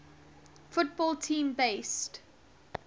football team based